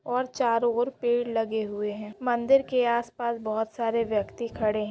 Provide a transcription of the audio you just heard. और चारो ओर पेड़ लगे हैं उस मंदिर के चारो ओर व्यक्ति खड़े हैं ।